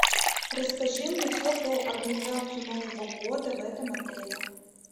расскажи мне все про организацию нового года в этом отеле